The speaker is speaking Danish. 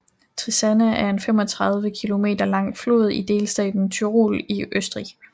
Trisanna er en 35 km lang flod i delstaten Tyrol i Østrig